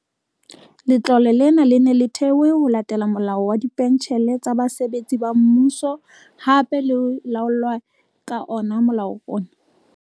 Letlole lena le ne le thewe ho latela Molao wa Dipentjhele tsa Basebetsi ba Mmuso, hape le laolwa ka ona molao ona.